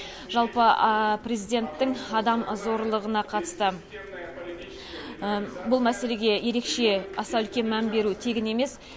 жалпы президенттің адам зорлығына қатысты бұл мәселеге ерекше аса үлкен мән беруі тегін емес